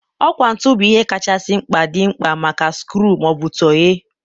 ọkwá ntụ bụ ihe kachasị mkpa dị mkpa maka skru ma ọ bụ tọghee.